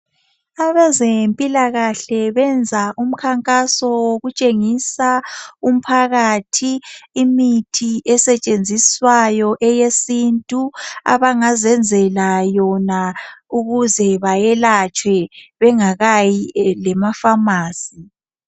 Abezempilakahle benza umkhankaso wokutshengisa umphakathi imithi esetshenziswayo eyesintu abangazenzela yona ukuze bayelatshwe bengakayi lemafamasi.